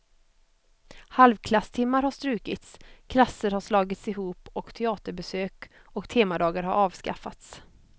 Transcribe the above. Halvklasstimmar har strukits, klasser har slagits ihop och teaterbesök och temadagar har avskaffats.